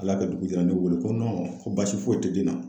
Ala y'a kɛ dugu jɛ la a ye ne wele ko ko basi foyi tɛ den na.